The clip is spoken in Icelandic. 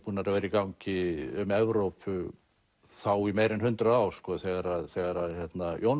búnar að vera í gangi um Evrópu þá í meira en hundrað ár þegar þegar að Jón